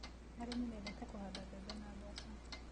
Arĩmi mendete kũhanda mbembe na mboco